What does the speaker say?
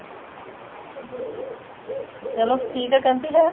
ਚਲੋ ਠੀਕ ਆ ਕਟੀ ਹੈ